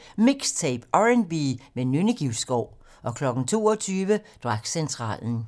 20:00: MIXTAPE - R&B med Nynne Givskov 22:00: Dragcentralen